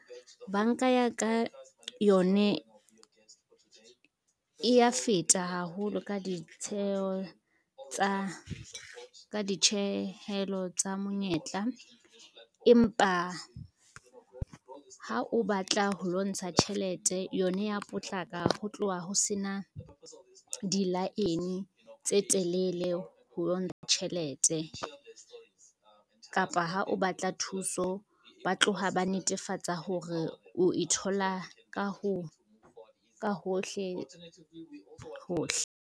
Banka ya ka yone, e ya feta haholo ka ditjehelo tsa monyetla. Empa ha o batla ho lo ntsha tjhelete, yone ya potlaka ho tloha ho sena dilaene tse telele ho lo ntsha tjhelete, kapa ha o batla thuso ba tloha ba netefatsa hore o ithola ka hohle hohle.